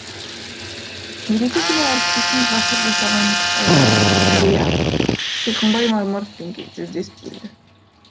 мереке күні әріптесім ғасыр жасаған қария сиқымбай мармыровпен жүздесіп келді